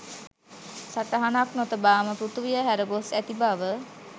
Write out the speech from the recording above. සටහනක් නොතබාම පෘතුවිය හැරගොස් ඇති බව